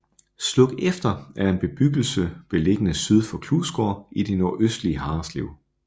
Slukefter er en bebgyggelse beliggende syd for Klusgaard i det nordøstlige Harreslev